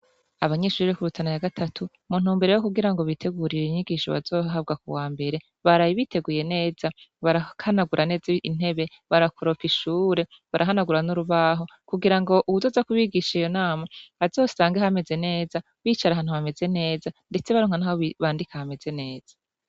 Abanyishuri bekurutana ya gatatu muntu mumbere yo kugira ngo bitegurira inyigisho bazohabwa ku wa mbere barabiteguye neza ngo barakanagura neza intebe barakuroka ishure barahanagura n'urubaho kugira ngo uwuzoza kubigisha iyo nama azosange hameze neza bicara ahantu hameze neza, ndetse barnwa, naho bandike hameze neza.